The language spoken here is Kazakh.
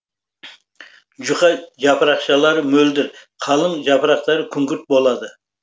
жұқа жапырақшалары мөлдір қалың жапырақтары күңгірт болады